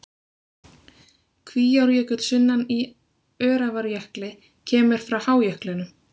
Kvíárjökull sunnan í Öræfajökli kemur frá hájöklinum.